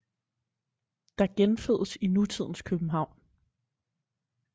Der genfødes i nutidens københavn